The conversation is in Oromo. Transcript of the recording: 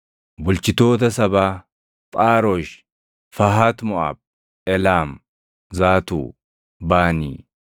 Bulchitoota sabaa: Phaarosh, Fahat Moʼaab, Eelaam, Zaatuu, Baanii,